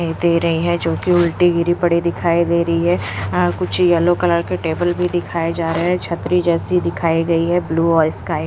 दे रही है जोकि उल्टी गिरी पड़ी दिखाई दे रही है अ कुछ येलो कलर के टेबल भी दिखाए जा रहे हैं छतरी जैसी दिखाई गई है ब्लू और स्काई --